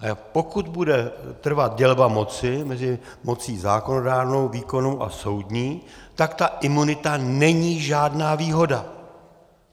A pokud bude trvat dělba moci mezi mocí zákonodárnou, výkonnou a soudní, tak ta imunita není žádná výhoda.